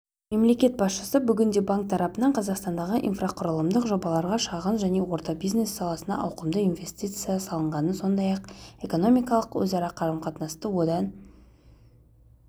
мемлекет басшысы бүгінде банк тарапынан қазақстандағы инфрақұрылымдық жобаларға шағын және орта бизнес саласына ауқымды инвестиция салынғанын сондай-ақ экономикалық өзара қарым-қатынасты одан